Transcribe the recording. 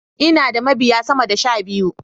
Ina da mabiya sama da sh abiyu.